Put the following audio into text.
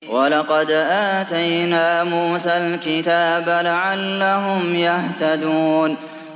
وَلَقَدْ آتَيْنَا مُوسَى الْكِتَابَ لَعَلَّهُمْ يَهْتَدُونَ